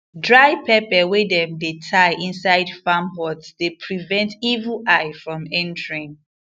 dry pepper wey dem dey tie inside farm hut dey prevent evil eye from entering